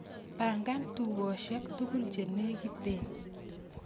Pangan tugosiek tugul chenegiten